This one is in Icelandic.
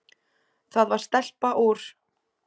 Það var stelpa úr